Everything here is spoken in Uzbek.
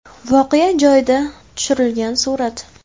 Voqea joyida tushirilgan surat.